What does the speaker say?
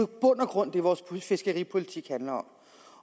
bund og grund det vores fiskeripolitik handler om